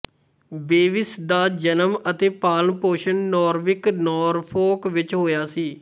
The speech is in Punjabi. ਬੇਵਿਸ ਦਾ ਜਨਮ ਅਤੇ ਪਾਲਣ ਪੋਸ਼ਣ ਨੌਰਵਿਕ ਨੌਰਫੋਕ ਵਿੱਚ ਹੋਇਆ